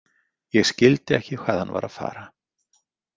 Ég skildi ekki hvað hann var að fara.